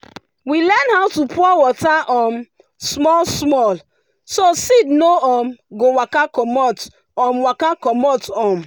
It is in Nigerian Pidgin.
we learn how to pour water um small small so seed no um go waka commot. um waka commot. um